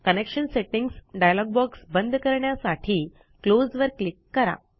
connection settings dialog box बंद करण्यासाठी close वर क्लिक करा